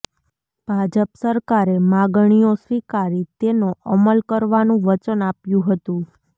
ભાજપ સરકારે માગણીઓ સ્વીકારી તેનો અમલ કરવાનું વચન આપ્યું હતું